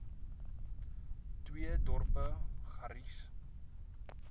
twee dorpe garies